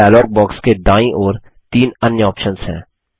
यहाँ dialog box के दायीं ओर तीन अन्य ऑप्शन्स हैं